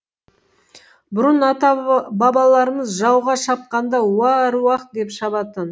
бұрын ата бабаларымыз жауға шапқанда уа аруақ деп шабатын